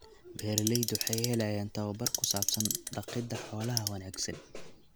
Beeraleydu waxay helayaan tababar ku saabsan dhaqidda xoolaha wanaagsan.